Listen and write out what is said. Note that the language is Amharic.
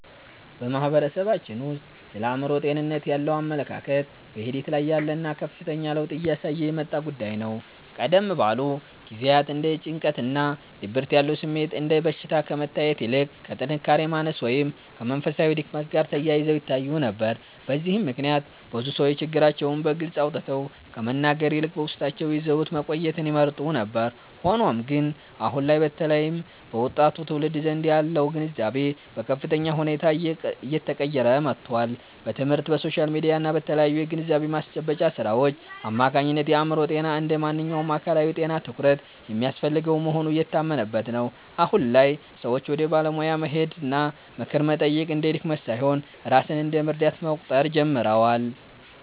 በማህበረሰባችን ውስጥ ስለ አእምሮ ጤንነት ያለው አመለካከት በሂደት ላይ ያለና ከፍተኛ ለውጥ እያሳየ የመጣ ጉዳይ ነው። ቀደም ባሉ ጊዜያት እንደ ጭንቀትና ድብርት ያሉ ስሜቶች እንደ በሽታ ከመታየት ይልቅ ከጥንካሬ ማነስ ወይም ከመንፈሳዊ ድክመት ጋር ተያይዘው ይታዩ ነበር። በዚህም ምክንያት ብዙ ሰዎች ችግራቸውን በግልጽ አውጥተው ከመናገር ይልቅ በውስጣቸው ይዘውት መቆየትን ይመርጡ ነበር። ሆኖም ግን፣ አሁን ላይ በተለይም በወጣቱ ትውልድ ዘንድ ያለው ግንዛቤ በከፍተኛ ሁኔታ እየተቀየረ መጥቷል። በትምህርት፣ በሶሻል ሚዲያ እና በተለያዩ የግንዛቤ ማስጨበጫ ሥራዎች አማካኝነት የአእምሮ ጤና እንደ ማንኛውም አካላዊ ጤና ትኩረት የሚያስፈልገው መሆኑ እየታመነበት ነው። አሁን ላይ ሰዎች ወደ ባለሙያ መሄድና ምክር መጠየቅ እንደ ድክመት ሳይሆን ራስን እንደ መርዳት መቁጠር ጀምረዋል።